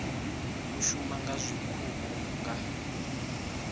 u shuma nga zwiṱuku nga